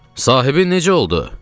Sahibin necə oldu?